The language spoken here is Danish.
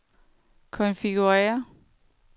konfigurér